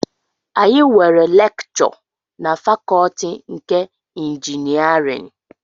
Anyị nwere lekchọ na fakọtị nke ịnjinierịn